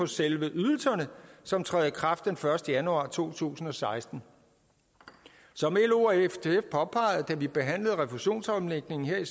selve ydelserne som træder i kraft den første januar to tusind og seksten som lo og ftf påpegede da vi behandlede refusionsomlægningen her